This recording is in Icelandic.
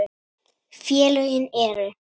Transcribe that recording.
Félögin eru